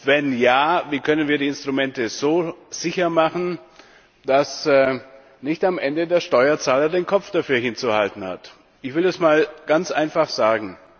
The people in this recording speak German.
Wenn ja, wie können wir die Instrumente so sicher machen, dass nicht am Ende der Steuerzahler den Kopf dafür hinzuhalten hat? Ich will es mal ganz einfach sagen.